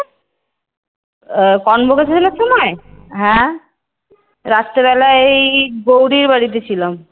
Convocation এর সময়? রাত্রি বেলায় গৌরীর বাড়ীতে ছিলাম।